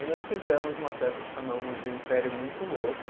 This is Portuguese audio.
Aí nós fizemos uma peça que chamamos de Império Muito Louco.